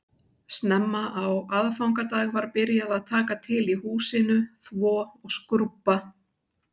Snemma á aðfangadag var byrjað að taka til í húsinu, þvo og skrúbba